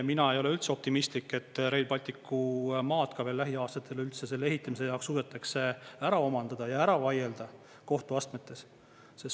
Mina ei ole üldse optimistlik, et Rail Balticu maad veel lähiaastatel üldse selle ehitamise jaoks suudetakse ära omandada ja ära vaielda kohtuastmetes.